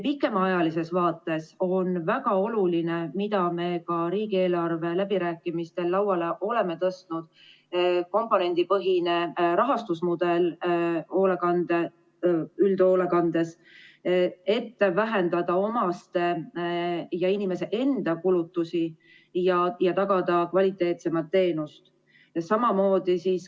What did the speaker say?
Pikemaajalises vaates on üks väga oluline teema, mille me oleme ka riigieelarve läbirääkimistel lauale tõstnud, nimelt uutmoodi rahastusmudel üldhoolekandes, et vähendada omaste ja inimese enda kulutusi ja tagada kvaliteetsemat teenust.